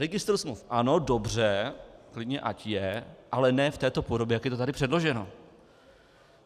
Registr smluv ano, dobře, klidně ať je, ale ne v této podobě, jak je to tady předloženo.